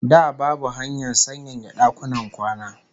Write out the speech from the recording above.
Da babu hanyar sanyaya dakunan kwana